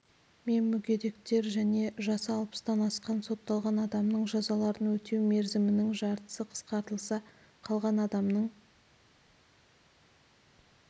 мен мүгедектер және жасы алпыстан асқан сотталған адамның жазаларын өтеу мерзімінің жартысы қысқартылса қалған адамның